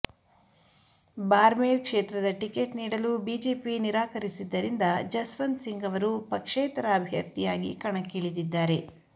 ಬಾರ್ಮೇರ್ ಕ್ಷೇತ್ರದ ಟಿಕೆಟ್ ನೀಡಲು ಬಿಜೆಪಿ ನಿರಾಕರಿಸಿದ್ದರಿಂದ ಜಸ್ವಂತ್ ಸಿಂಗ್ ಅವರು ಪಕ್ಷೇತರ ಅಭ್ಯರ್ಥಿಯಾಗಿ ಕಣಕ್ಕಿಳಿದಿದ್ದಾರೆ